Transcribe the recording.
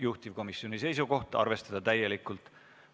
Juhtivkomisjoni seisukoht on arvestada seda täielikult.